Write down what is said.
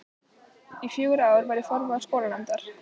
Í fjögur ár var ég formaður skólanefndar.